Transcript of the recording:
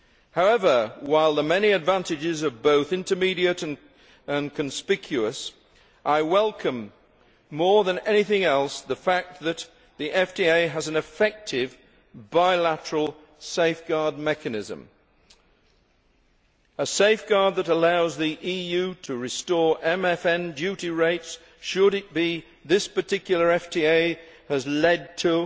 However, while the many advantages are both immediate and conspicuous, I welcome more than anything else the fact that the FTA has an effective bilateral safeguard mechanism a safeguard that allows the EU to restore MFN duty rates, should it be that this particular FTA has led to